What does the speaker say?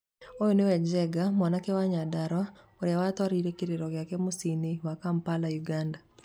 "Ũyũ nĩwe Njenga mwanake wa Nyandarua ũrĩa watwarire kĩrĩro mũciĩini wa Kampala Uganda!"